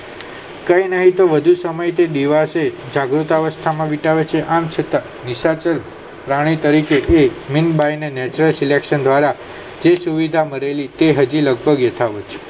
કે નાય તો તે વધુ સમયે દિવસે જગાવ અવસ્થા માં વિતાવે છે આમ છતાં silekasan દ્વારા થી સુવિધા મળેલી તે હજી લભગક વિતાવે છે